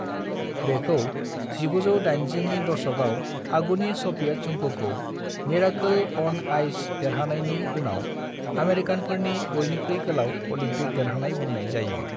बेखौ 1980 नि दशकआव आगुनि सभियेट संघखौ "मिरेकल अन आइस" देरहानायनि उनाव आमेरिकानफोरनि बयनिख्रुइ गोलाव अलिम्पिक देरहानाय बुंनाय जायो।